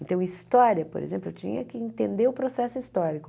Então, história, por exemplo, eu tinha que entender o processo histórico.